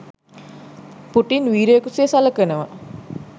Putin වීරයෙකු ලෙස සලකනවා.